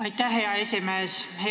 Aitäh, hea esimees!